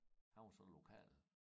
Han var så lokal